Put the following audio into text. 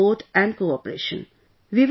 We need your support and cooperation